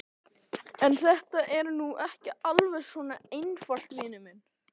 En þetta er nú ekki alveg svona einfalt, vinur minn.